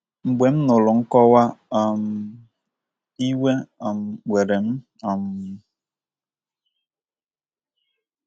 “ Mgbe m nụrụ nkọwa um a, iwe um were m um m um.